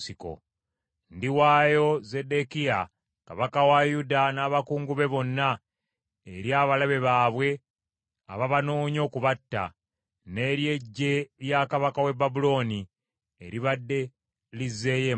“Ndiwaayo Zeddekiya kabaka wa Yuda n’abakungu be bonna eri abalabe baabwe ababanoonya okubatta, n’eri eggye lya kabaka w’e Babulooni, eribadde lizzeeyo emabega.